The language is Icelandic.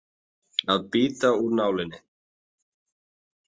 Að bíta úr nálinni